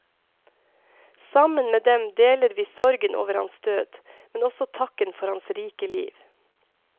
Sammen med dem deler vi sorgen over hans død, men også takken for hans rike liv.